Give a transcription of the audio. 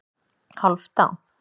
Hálfdan